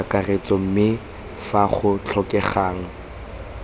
kakaretso mme fa go tlhokegang